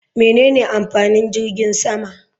Menene amfanin jirgin sama?